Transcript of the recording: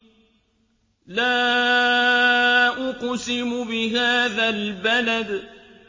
لَا أُقْسِمُ بِهَٰذَا الْبَلَدِ